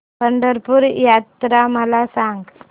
पंढरपूर यात्रा मला सांग